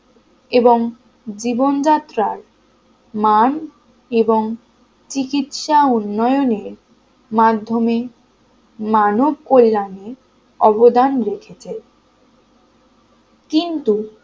জীবনযাত্রার মান এবং চিকিৎসা উন্নয়নের মাধ্যমে মানব কল্যাণে অবদান রেখেছে কিন্তু